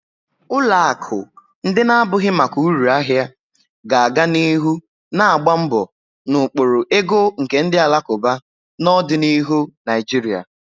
Ụlọ akụ ndị na-abụghị maka uru ahia ga-aga n'ihu na-agba mbọ na ụkpụrụ ego nke ndi alakuba na ọdịnihu Naijiria.